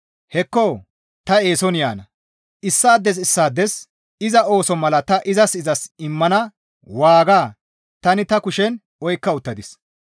«Hekko! Ta eeson yaana! Issaades issaades iza ooso mala ta izas izas immana waaga tani ta kushen oykka uttadis.